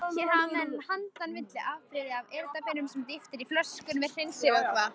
Hér hafa menn handa milli afbrigði af eyrnapinnum sem dýft er í flöskur með hreinsivökva.